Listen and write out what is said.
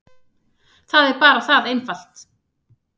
Það er bara það einfalt.